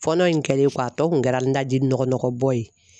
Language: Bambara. Fɔlɔ in kɛlen kɔ a tɔ kun kɛra n daji nɔgɔ bɔ ye.